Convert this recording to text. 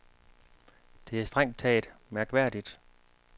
Det er strengt taget mærkværdigt.